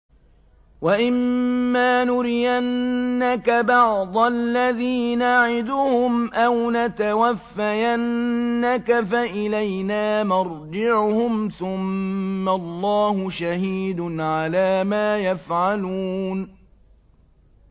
وَإِمَّا نُرِيَنَّكَ بَعْضَ الَّذِي نَعِدُهُمْ أَوْ نَتَوَفَّيَنَّكَ فَإِلَيْنَا مَرْجِعُهُمْ ثُمَّ اللَّهُ شَهِيدٌ عَلَىٰ مَا يَفْعَلُونَ